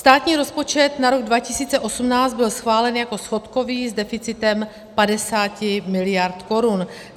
Státní rozpočet na rok 2018 byl schválen jako schodkový s deficitem 50 mld. korun.